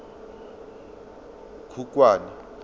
khukhwane